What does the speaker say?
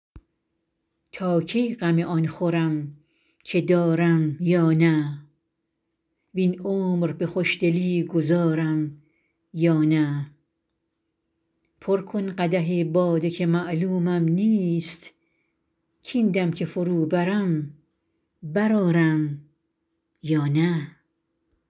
تا کی غم آن خورم که دارم یا نه وین عمر به خوشدلی گذارم یا نه پر کن قدح باده که معلومم نیست کاین دم که فرو برم برآرم یا نه